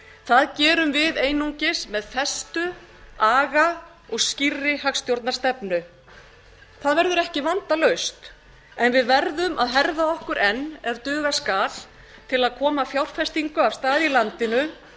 það gerum við einungis með festu aga og skýrri hagstjórnarstefnu það vegur ekki vandalaust en við verðum að herða okkur enn ef duga skal til að koma fjárfestingu af stað í landinu